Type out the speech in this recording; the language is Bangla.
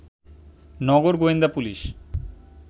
নগর গোয়েন্দা পুলিশ